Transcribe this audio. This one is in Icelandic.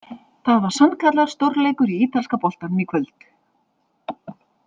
Það var sannkallaður stórleikur í ítalska boltanum í kvöld!